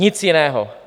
Nic jiného.